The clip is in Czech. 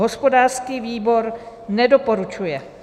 Hospodářský výbor nedoporučuje.